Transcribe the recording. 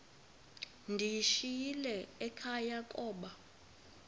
ndiyishiyile ekhaya koba